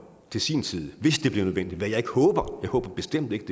til sin tid hvis det bliver nødvendigt hvad jeg ikke håber jeg håber bestemt ikke